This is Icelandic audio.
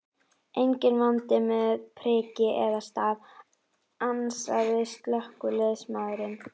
Enginn vandi með priki eða staf, ansaði slökkviliðsmaðurinn.